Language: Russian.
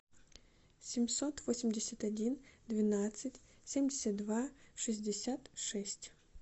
семьсот восемьдесят один двенадцать семьдесят два шестьдесят шесть